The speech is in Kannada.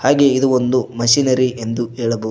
ಹಾಗೇ ಇದು ಒಂದು ಮಷೀನರಿ ಎಂದು ಹೇಳಬಹುದು.